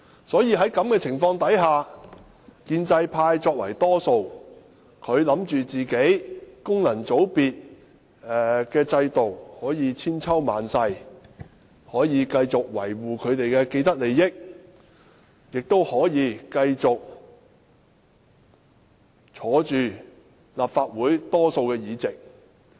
在這種情況下，建制派作為多數，他們認為功能界別的制度可以千秋萬世，他們可以繼續維護自己的既得利益，也可以繼續坐擁立法會大多數議席。